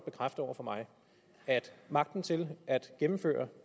bekræfte over for mig at magten til at gennemføre